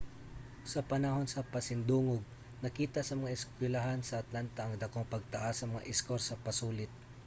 sa panahon sa pasidungog nakita sa mga eskuylahan sa atlanta ang dakong pagtaas sa mga eskor sa pasulit